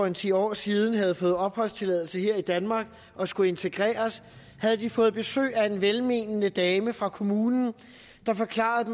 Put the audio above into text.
en ti år siden havde fået opholdstilladelse her i danmark og skulle integreres havde de fået besøg af en velmenende dame fra kommunen der forklarede